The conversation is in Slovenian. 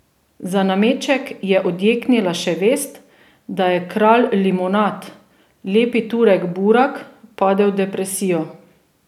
Za nameček je odjeknila še vest, da je kralj limonad, lepi Turek Burak, padel v depresijo.